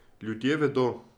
Ljudje vedo.